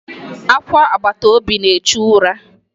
Akwa agbataobi na-echu ụra.